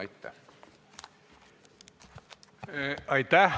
Aitäh!